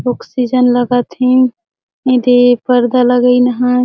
ऑक्सीजन लगत हे एदे पर्दा लगइन हे।